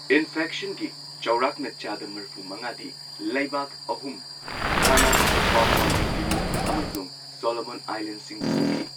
ꯏꯟꯐꯦꯛꯁꯟꯒꯤ ꯆꯥꯎꯔꯥꯛꯅ ꯆꯥꯗ ꯃꯔꯐꯨ ꯃꯉꯥꯗꯤ ꯂꯩꯕꯥꯛ ꯑꯍꯨꯝ ꯘꯅꯥ, ꯄꯥꯄꯨꯋ ꯅ꯭ꯌꯨ ꯒꯤꯅꯤ, ꯑꯃꯁꯨꯡ ꯁꯣꯂꯣꯃꯣꯟ ꯑꯥꯏꯂꯦꯟꯁꯤꯡꯗ ꯊꯣꯛꯈꯤ꯫